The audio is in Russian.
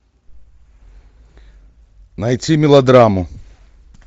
найти мелодраму